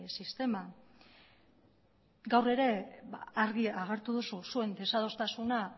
sistema gaur ere argi agertu duzu zuen desadostasuna